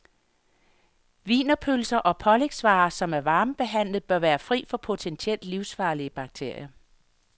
Wienerpølser og pålægsvarer, som er varmebehandlet, bør være fri for potentielt livsfarlige bakterier.